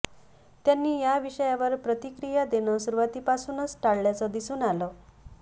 त्यांनी या विषयावर प्रतिक्रिया देणं सुरुवातीपासूनच टाळल्याचं दिसून आलं